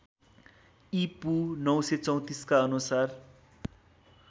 ईपू ९३४ का अनुसार